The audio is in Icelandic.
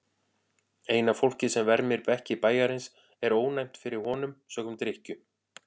Eina fólkið sem vermir bekki bæjarins er ónæmt fyrir honum sökum drykkju.